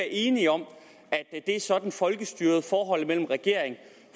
enige om at det er sådan folkestyret og mellem regering og